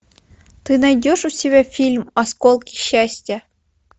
ты найдешь у себя фильм осколки счастья